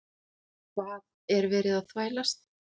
HVAÐ ER VERIÐ AÐ ÞVÆLAST?